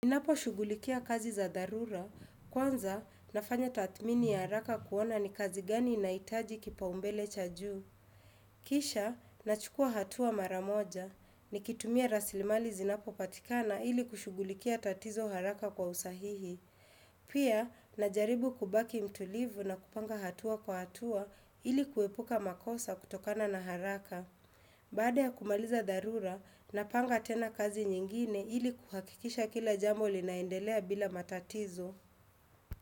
Ninapo shugulikia kazi za dharura, kwanza nafanya tathmini ya haraka kuona ni kazi gani inaitaji kipaumbele cha juu. Kisha, nachukua hatua mara moja, ni kitumia raslimali zinapo patikana ili kushugulikia tatizo haraka kwa usahihi. Pia, najaribu kubaki mtulivu na kupanga hatua kwa hatua ili kuepuka makosa kutokana na haraka. Baada ya kumaliza dharura, napanga tena kazi nyingine ili kuhakikisha kila jambo li naendelea bila matatizo.